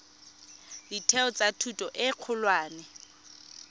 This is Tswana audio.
ditheo tsa thuto e kgolwane